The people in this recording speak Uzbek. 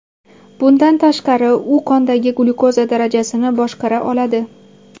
Bundan tashqari, u qondagi glyukoza darajasini boshqara oladi.